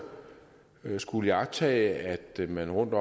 skullet iagttage at man rundt